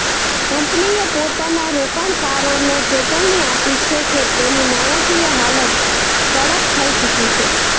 કંપનીએ પોતાનાં રોકાણકારોને ચેતવણી આપી છે કે તેની નાણાંકીય હાલત કડક થઇ ચૂકી છે